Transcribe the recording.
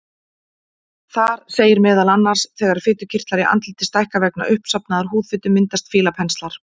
Þar segir meðal annars: Þegar fitukirtlar í andliti stækka vegna uppsafnaðrar húðfitu myndast fílapenslar.